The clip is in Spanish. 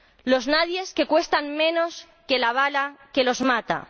Los nadies, que cuestan menos que la bala que los mata.